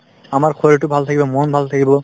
আমাৰ শৰীৰটো ভাল থাকিব মন ভাল থাকিব